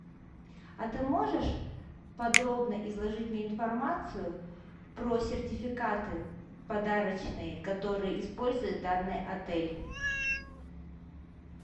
а ты можешь подробно изложить мне информацию про сертификаты подарочные которые использует данный отель